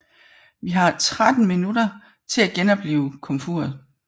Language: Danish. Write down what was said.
Vi har tretten minutter til at genoplive komfuret